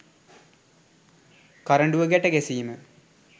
කරඬුව ගැට ගැසීම